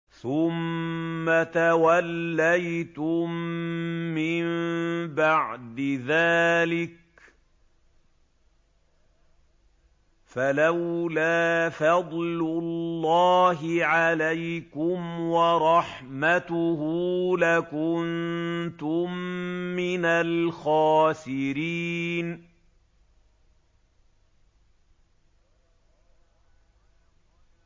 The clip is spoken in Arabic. ثُمَّ تَوَلَّيْتُم مِّن بَعْدِ ذَٰلِكَ ۖ فَلَوْلَا فَضْلُ اللَّهِ عَلَيْكُمْ وَرَحْمَتُهُ لَكُنتُم مِّنَ الْخَاسِرِينَ